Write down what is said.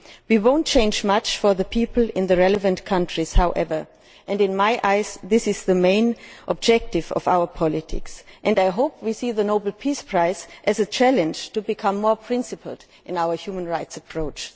We will not change much for the people in the relevant countries, however, and in my eyes this is the main objective of our policies and I hope we see the Nobel Peace Prize as a challenge to become more principled in our human rights approach.